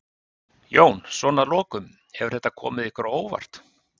Jón: Svona að lokum, hefur þetta komið ykkur á óvart?